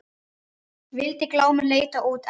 Vildi Glámur leita út en